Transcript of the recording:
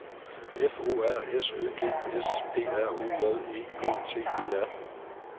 F O R S Ø G S P R O J E K T E R